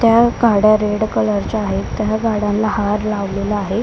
त्या गाड्या red colour चा आहे त्या गाड्यांना हार लावलेला आहे.